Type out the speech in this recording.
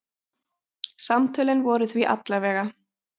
Samtölin voru því alla vega.